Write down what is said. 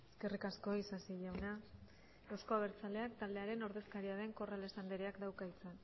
eskerrik asko isasi jauna euzko abertzaleak taldearen ordezkaria den corrales andereak dauka hitza